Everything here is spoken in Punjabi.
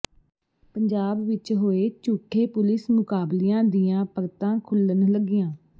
ਪੰਜਾਬ ਵਿੱਚ ਹੋਏ ਝੂਠੇ ਪੁਲਿਸ ਮੁਕਾਬਲਿਆਂ ਦੀਆਂ ਪਰਤਾਂ ਖੁੱਲ੍ਹਣ ਲੱਗੀਆਂ